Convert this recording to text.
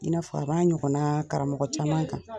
I n'a fɔ b'a ɲɔgɔn na karamɔgɔ caman kan.